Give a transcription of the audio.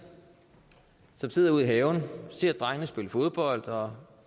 som sidder ude i haven og ser drengene spille fodbold og